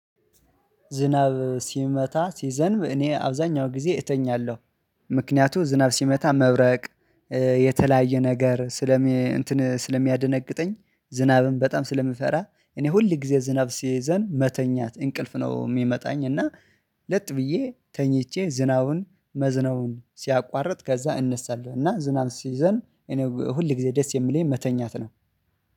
ዝናብ ሲመታ ሲዘንብ እኔ አብዛኛው ጊዜ እተኛለሁ። ምክንያቱ ዝናብ ሲመታ መብረቅ የተለያየ ነገር ስለሚ እንትን ስለሚያደነግጠኝ ዝናብም በጣም ስለምፈራ። እኔ ሁል ጊዜ ዝናብ ሲዘንብ መተኛት እንቅልፍ ነው የሚመጣኝ እና። ለጥ ብዬ ተኝቼ ዝናቡን መዝናቡን ሲያቋርጥ ከዛ እነሳለሁ። እና ዝናብ ሲይዘን እኔ ሁል ጊዜ ደስ የምልኝ መተኛት ነው